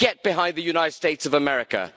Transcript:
Get behind the United States of America.